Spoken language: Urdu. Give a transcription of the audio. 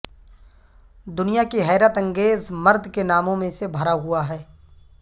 دنیا کی حیرت انگیز مرد کے ناموں میں سے بھرا ہوا ہے